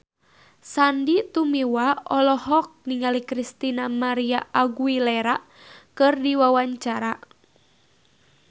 Sandy Tumiwa olohok ningali Christina María Aguilera keur diwawancara